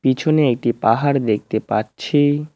পিছনে একটি পাহাড় দেখতে পাচ্ছি।